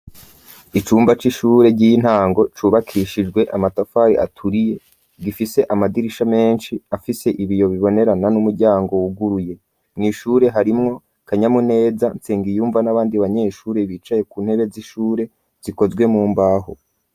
Icumba c'ishure ry'intango cubakishijwe amatafari aturiye gifise amadirisha menshi afise ibiyo bibonerana n'umuryango wuguruye mw'ishure harimwo kanyamu neza nsenga iyumva n'abandi banyeshure bicaye ku ntebe z'ishure zikozwe mu mbaho.